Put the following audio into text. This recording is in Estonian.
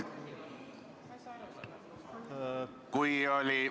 Kui oli ...